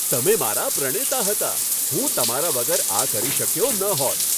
તમે મારા પ્રણેતા હતા! હું તમારા વગર આ કરી શક્યો ન હોત.